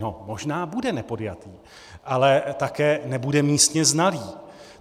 No, možná bude nepodjatý, ale také nebude místně znalý.